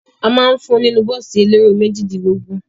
A ma ń fún ọ nínú bọ́ọ̀sì elérò méjìdínlógún.